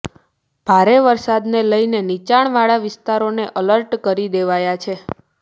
ભારે વરસાદને લઈને નીચાણવાળા વિસ્તારોને અલર્ટ કરી દેવાયા છે